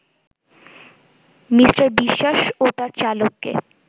Me. Biswas ও তার চালককে